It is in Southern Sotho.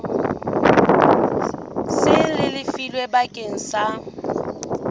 seng le lefilwe bakeng sa